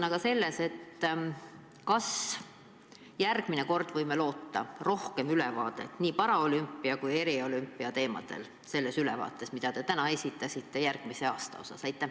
Kas me järgmine kord võime loota paremat ülevaadet, kus on puudutatud ka paralümpia ja eriolümpia teemasid?